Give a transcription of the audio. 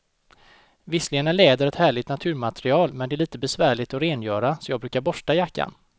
Visserligen är läder ett härligt naturmaterial, men det är lite besvärligt att rengöra, så jag brukar borsta jackan.